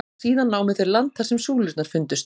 Síðan námu þeir land þar sem súlurnar fundust.